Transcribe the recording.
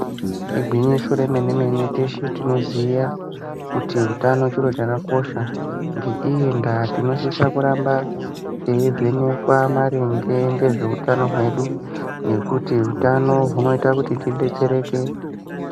Igwinyiso remene-mene teshe tinoziya kuti hutano chiro chakakosha ngeiyi ndaa tinosisa kuramba teyi vhenekwa maringe ngezveutano hwedu nekuti utano hunoita kuti tidetsereke.